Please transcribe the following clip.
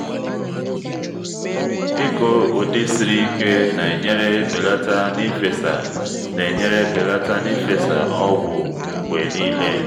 ịkụ ụdị siri ike na-enyere belata n’ifesa na-enyere belata n’ifesa ọgwụ mgbe niile